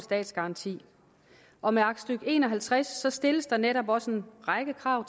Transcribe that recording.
statsgaranti og med aktstykke en og halvtreds stilles der netop også en række krav